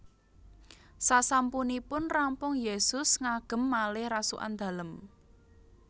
Sasampunipun rampung Yesus ngagem malih rasukan Dalem